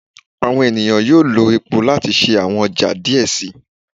Awọn eniyan yoo lo epo lati ṣe awọn ọja diẹ sii